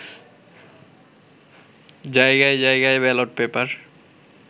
জায়গায় জায়গায় ballot paper